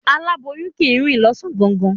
Aláboyun kì í rìn ní ọ̀sán gangan.